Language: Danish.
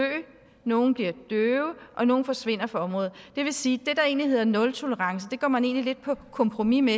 nogle bliver døve og nogle forsvinder fra området det vil sige at det der egentlig hedder nultolerance går man lidt på kompromis med